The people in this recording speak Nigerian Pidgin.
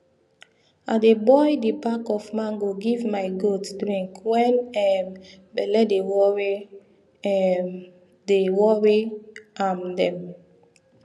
i dey boil d back of mango give my goat drink wen um belle dey wori um dey wori um dem